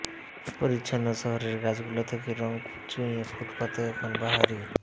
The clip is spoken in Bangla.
পরিচ্ছন্ন শহরের গাছগুলো থেকে রঙ চুইয়ে ফুটপাথে এখন বাহারি